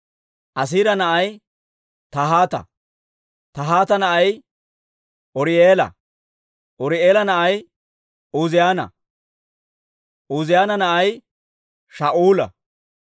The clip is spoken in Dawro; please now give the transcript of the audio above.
Asiira na'ay Tahaata; Tahaata na'ay Uri'eela; Uri'eela na'ay Uuziyaana; Uuziyaana na'ay Shaa'ula.